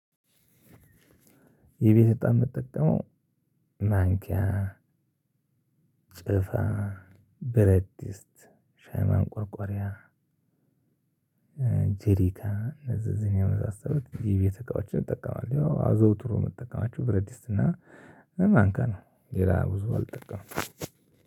የቤት እጣ እምጠቀመው ማንኪያ ጭፋ በረድስት ሻይ ማቆርቆሪያ። ጄሪካ እዚህ እዚህን የመሳሰሉት የቤት እቃዎች እጠቀማለሁ አዘውትሮ የእምጠቀማችው ብረድስት እና። በማንካ ነው ሌላ ብዙ አልጠቀምም።